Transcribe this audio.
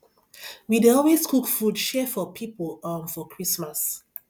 we dey always cook food share for pipo um for christmas